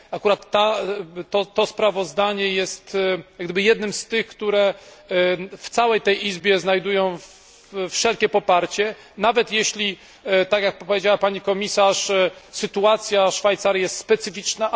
Akurat to sprawozdanie jest jak gdyby jednym z tych, które w całej tej izbie znajdują pełne poparcie, nawet jeśli, tak jak to powiedziała pani komisarz, sytuacja Szwajcarii jest specyficzna.